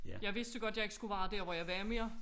Jeg vidste jo godt at jeg ikke skulle være der hvor jeg var mere